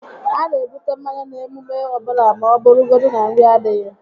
A na ebute mmanya n'emume ọbụla ma ọ bụrụgodi na nri adịghị